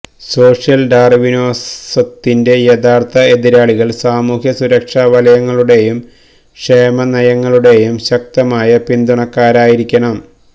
social ഡാർവിനിസത്തിന്റെ യഥാർത്ഥ എതിരാളികൾ സാമൂഹ്യ സുരക്ഷാ വലയങ്ങളുടെയും ക്ഷേമ നയങ്ങളുടെയും ശക്തമായ പിന്തുണക്കാരായിരിക്കണം